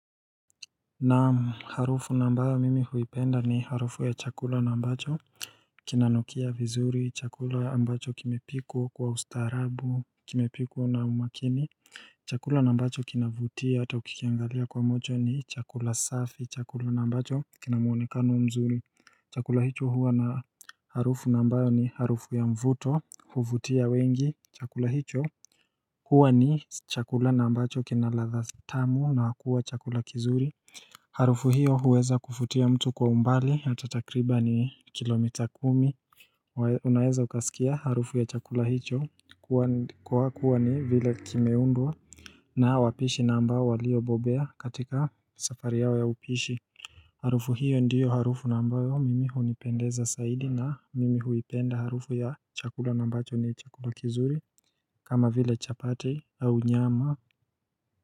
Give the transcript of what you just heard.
Naam, harufu na ambayo mimi huipenda ni harufu ya chakula na ambacho Kinanukia vizuri, chakula ambacho kimepikwa kwa ustaarabu, kimepikwa na umakini Chakula na ambacho kinavutia ata ukikiangalia kwa macho ni chakula safi, chakula na ambacho kina muonekano mzuri Chakula hicho huwa na harufu na ambayo ni harufu ya mvuto, huvutia wengi, chakula hicho huwa ni chakula na ambacho kina ladha tamu naa kuwa chakula kizuri Harufu hiyo huweza kufutia mtu kwa umbali hata takribani kilomita kumi Unaeza ukasikia harufu ya chakula hicho kwa kuwa ni vile kimeundwa na wapishi na amba waliobobea katika safari yao ya upishi Harufu hiyo ndiyo harufu na ambayo mimi hunipendeza saidi na mimi huipenda harufu ya chakula na ambacho ni chakula kizuri kama vile chapati au nyama.